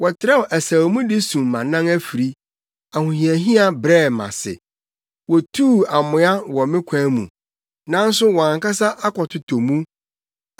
Wɔtrɛw asau mu de sum mʼanan afiri, ahohiahia brɛɛ me ase. Wotuu amoa wɔ me kwan mu, nanso wɔn ankasa akɔtotɔ mu.